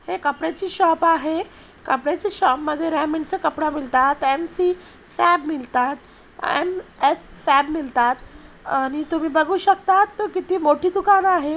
एक कपड्याची शॉप आहे कपड्याच्या शॉप मध्ये रेमंड चा कपडा मिळतात एम_सी फॅब मिळतात एम_एस फॅब मिळतात आणि तुम्ही बघु शकता तो किती मोठी दुकान आहे.